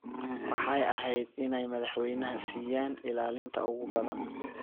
Waxay ahayd inay madaxweynaha siiyaan ilaalinta ugu badan.